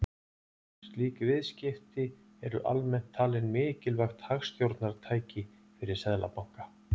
slík viðskipti eru almennt talin mikilvægt hagstjórnartæki fyrir seðlabanka